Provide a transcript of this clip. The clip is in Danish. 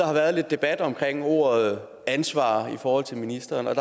har været lidt debat om ordet ansvar i forhold til ministeren og